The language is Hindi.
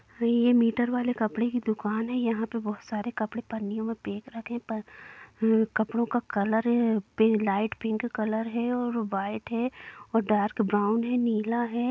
है ये मीटर वाले कपड़े की दुकान है यहां पर बहुत सारे कपड़े पन्नियों में पेक रखे है कपड़ो का कलर पी लाइट पिंक कलर है और व्हाइट है और डार्क ब्राउन है नीला है।